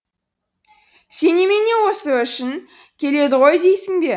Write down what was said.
сен немене осы үшін келеді ғой дейсің бе